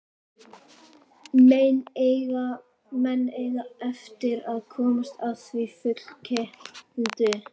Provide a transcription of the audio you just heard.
Menn eiga eftir að komast að því fullkeyptu.